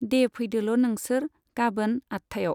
दे फैदोल' नोंसोर, गाबोन आठथायाव।